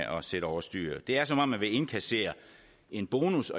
sætte over styr det er som om man vil indkassere en bonus